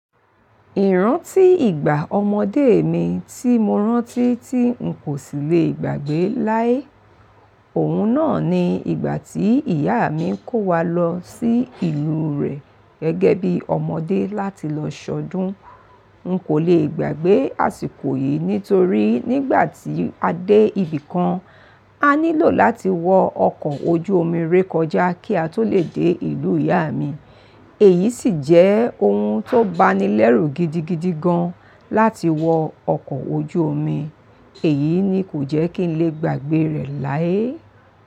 Ìrántí ìgbà ọmọdé mi tí mo rántí tí n kò sì le gbàgbé láé. Òun náà ni ìgbà tí ìyá mi ń kó wa lọ sí ìlú rẹ̀ gẹ́gẹ́ bí ọmọdé láti lọ ṣọdún. N kò le gbàgbé àsìkò yìí nítorí nígbà tí a dé ibì kan, a nílò láti wọ ọkọ̀ ojú omi rékọjá kí a tó lè dé ìlú ìyá mi. Èyí sì jẹ́ ohun tó bani lẹ́rù gidigidi gan láti wọ ọkọ̀ ojú omi. Èyí ni kò jẹ́ kí n lè gbàgbé rẹ̀ láé.